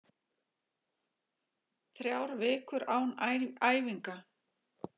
Þrjár vikur án æfinga?